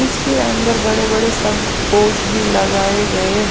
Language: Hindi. इसके अंदर बड़े-बड़े सबस पोश भी लगाएंगेहैं।